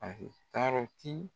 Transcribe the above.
tarɔti.